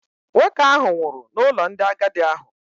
Nwoke ahụ nwụrụ n’ụlọ ndị agadi ahụ